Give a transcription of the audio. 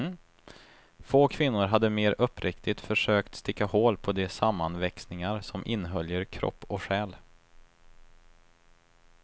Få kvinnor hade mer uppriktigt försökt sticka hål på de sammanväxningar som inhöljer kropp och själ.